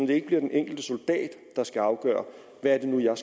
det ikke bliver den enkelte soldat der skal afgøre hvad det nu er